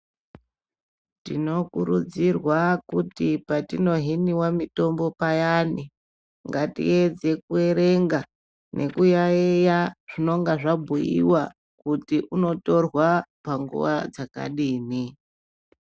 Tinokurudzirwa kuti patinohiniwa mitombo payani ngatiedze kuerenga nekuyaiya zvinonga zvabhuyiwa kuti unotorwa panguva dzakadini.